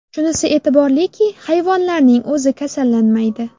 Shunisi e’tiborliki, hayvonlarning o‘zi kasallanmaydi.